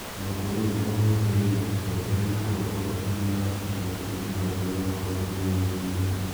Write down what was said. O na kũrĩ ũguo, historĩ-inĩ, wongerereku wa ũtonga ti ũira wa atĩ kĩama kĩa mũtongoria wabũrũri nĩ gĩgũthiĩ wega.